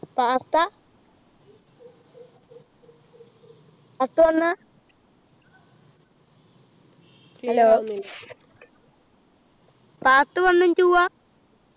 part ആ part one ആ hello part one ഉം two ആ